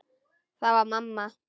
Það var mamma.